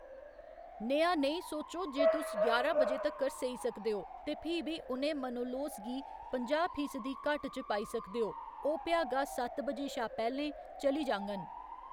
नेहा नेईं सोचो जे तुस ञारां बजे तक्कर सेई सकदे ओ ते फ्ही बी उ'नें मनोलोस गी पंजाह्‌ फीसदी घट्ट च पाई सकदे ओ ओह्‌‌ भ्यागा सत्त बजे शा पैह्‌लें चली जाङन !